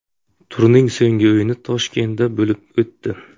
Turning so‘nggi o‘yini Toshkentda bo‘lib o‘tdi.